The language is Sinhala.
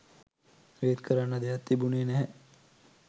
ඒත් කරන්න දෙයක් තිබුණෙ නැහැ